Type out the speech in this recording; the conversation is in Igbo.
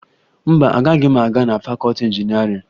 Mba, agaghị m aga na fakọọti injinịarịn